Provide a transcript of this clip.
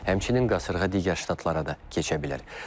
Həmçinin qasırğa digər ştatlara da keçə bilər.